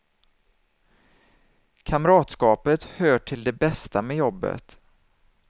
Kamratskapet hör till det bästa med jobbet.